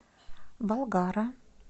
болгара